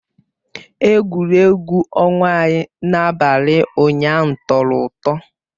Egwuregwu ọnwa anyị n'abalị ụnyaahụ tọrọ ụtọ